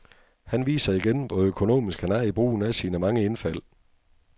Han viser igen, hvor økonomisk han er i brugen af sine mange indfald.